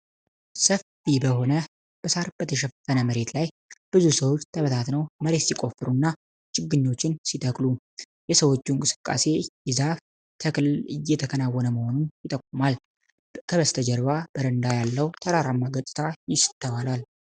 ሰፊ በሆነና በሳር የተሸፈነ መሬት ላይ ብዙ ሰዎች ተበታትነው መሬት ሲቆፍሩና ችግኞችን ሲተክሉ ። የሰዎቹ እንቅስቃሴ የዛፍ ተከላ እየተከናወነ መሆኑን ይጠቁማል። በስተጀርባ በረንዳ ያለው ተራራማ ገጽታ ይስተዋላል።